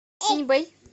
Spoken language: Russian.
синьбэй